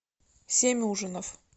семь ужинов